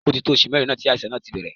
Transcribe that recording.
Ó ti tó oṣù mẹ́rin tí àìsàn náà ti bẹ̀rẹ̀.